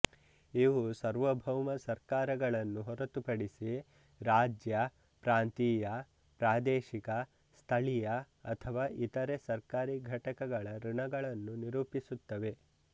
ಇವು ಸಾರ್ವಬೌಮ ಸರ್ಕಾರಗಳನ್ನು ಹೊರತುಪಡಿಸಿ ರಾಜ್ಯ ಪ್ರಾಂತೀಯ ಪ್ರಾದೇಶಿಕ ಸ್ಥಳೀಯ ಅಥವಾ ಇತರೆ ಸರ್ಕಾರಿ ಘಟಕಗಳ ಋಣಗಳನ್ನು ನಿರೂಪಿಸುತ್ತವೆ